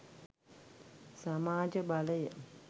සමාජ බලය